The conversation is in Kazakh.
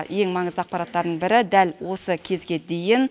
ең маңызды ақпараттардың бірі дәл осы кезге дейін